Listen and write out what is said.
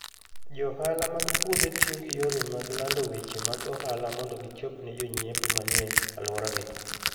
Johala mag puodho tiyo gi yore mag lando weche mag ohala mondo gichop ne jonyiepo manie alworagi.